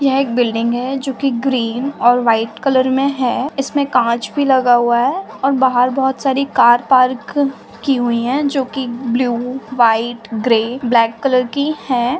यह एक बिल्डिंग है जोकि ग्रीन और वाईट कलर मे हैं इसमे कांच भी लगा हुआ है और बाहर बहोत सारी कार पार्क की हुई हैं जोकि blue white grey black colour की हैं।